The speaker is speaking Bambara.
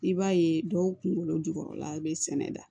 I b'a ye dɔw kunkolo jukɔrɔla bɛ sɛnɛ da